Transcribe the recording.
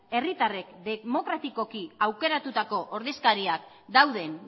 herritarrek demokratikoki aukeratutako ordezkariak dauden